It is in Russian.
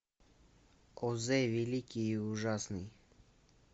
оз великий и ужасный